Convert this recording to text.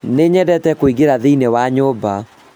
nĩnyendete kũingĩra thĩĩnĩ wa nyũmba